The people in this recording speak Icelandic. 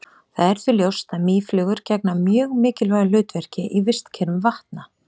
það er því ljóst að mýflugur gegna mjög mikilvægu hlutverki í vistkerfum vatna